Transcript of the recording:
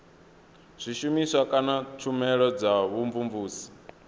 zwishumiswa kana tshumelo dza vhumvumvusi